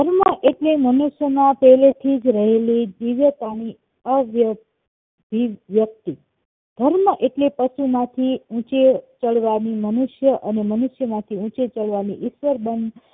સીમા એટલે મનુષ્ય માં પેહલે થી જ રહેલી દિવ્યતાની અવ્યક્ત વ્યક્તિ ધર્મ એટલે પશુ માંથી ઊંચે ચડવા ની મનુષ્ય અને મનુષ્ય માંથી ઉંચે ચડવાની ઈતર બંધ